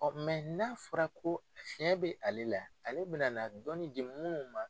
Ɔn n'a fɔra ko fiɲɛ be ale la ale be na na dɔnnni di munnu ma